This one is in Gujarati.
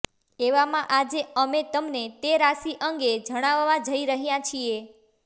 એવામાં આજે અમે તમને તે રાશિ અંગે જણાવવા જઇ રહ્યા છીએ